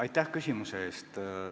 Aitäh küsimuse eest!